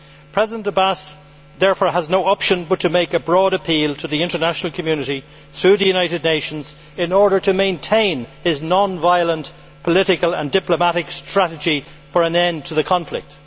President Abbas therefore has no option but to make a broad appeal to the international community, through the United Nations, in order to maintain his non violent, political and diplomatic strategy for an end to the conflict.